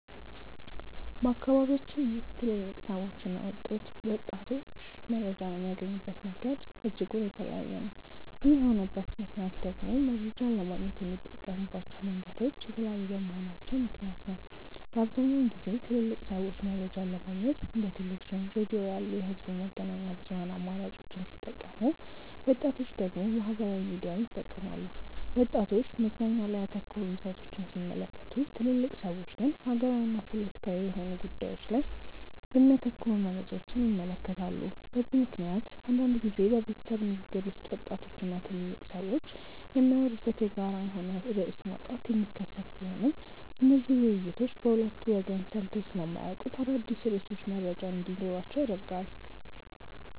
በአካባቢያችን ውስጥ ትልልቅ ሰዎችና ወጣቶች መረጃን የሚያገኙበት መንገድ እጅጉን የተለያየ ነው። ይህ የሆነበት ምክንያት ደግሞ መረጃን ለማግኘት የሚጠቀሙባቸው መንገዶች የተለያዩ በመሆናቸው ምክንያት ነው። በአብዛኛውን ጊዜ ትልልቅ ሰዎች መረጃን ለማግኘት እንደ ቴሌቪዥን፣ ሬዲዮ ያሉ የህዝብ መገናኛ ብዙሃን አማራጮችን ሲጠቀሙ ወጣቶች ደግሞ ማህበራዊ ሚዲያን ይጠቀማሉ። ወጣቶች መዝናኛ ላይ ያተኮሩ ይዘቶችን ሲመለከቱ ትልልቅ ሰዎች ግን ሀገራዊና ፖለቲካዊ የሆኑ ጉዳዮች ላይ የሚያተኩሩ መረጃዎችን ይመለከታሉ። በዚህ ምክንያት አንዳንድ ጊዜ በቤተሰብ ንግግር ውስጥ ወጣቶች እና ትልልቅ ሰዎች የሚያወሩበት የጋራ የሆነ ርዕስ ማጣት የሚከሰት ቢሆንም እነዚህ ውይይቶች በሁለቱ ወገን ሰምተው ስለማያውቁት አዳዲስ ርዕሶች መረጃ እንዲኖራቸው ያደርጋል።